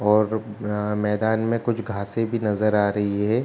और जो मैदान में कुछ घासें भी नजर आ रही हैं।